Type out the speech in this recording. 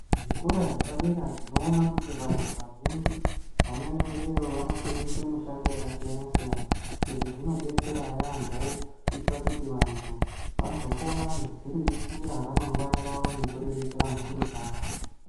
Zvikora zvepadera tinoona kuti vandu vazhinji vanoendayo vanofundiswa mushando wakasiyana siyana izvi zvidetsera yambo kuti vandu vazokona kudziriritira ramangwana ravo nekuriritira mhuri dzavo